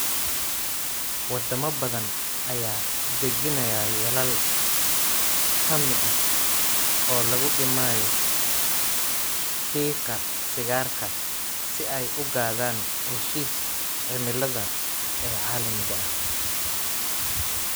Wadamo badan ayaa dejinaya yoolal hammi ah oo lagu dhimayo qiiqa sigaarka si ay u gaadhaan heshiisyada cimilada ee caalamiga ah.